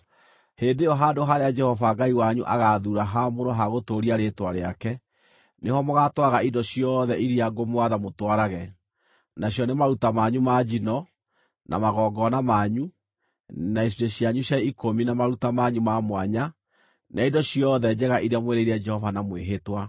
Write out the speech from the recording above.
Hĩndĩ ĩyo handũ harĩa Jehova Ngai wanyu agaathuura haamũrwo ha gũtũũria Rĩĩtwa rĩake, nĩho mũgaatwaraga indo ciothe iria ngũmwatha mũtwarage: nacio nĩ maruta manyu ma njino, na magongona manyu, na icunjĩ cianyu cia ikũmi na maruta manyu ma mwanya, na indo ciothe njega iria mwĩrĩire Jehova na mwĩhĩtwa.